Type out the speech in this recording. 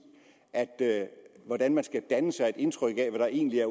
det altså hvordan man skal danne sig et indtryk af hvad der egentlig er